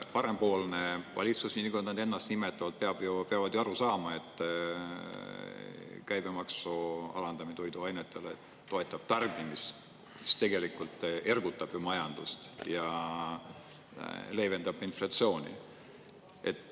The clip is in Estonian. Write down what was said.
Parempoolne valitsus, nii nagu nad ennast nimetavad, peab ju aru saama, et käibemaksu alandamine toiduainetele toetab tarbimist, siis tegelikult ergutab ju majandust ja leevendab inflatsiooni.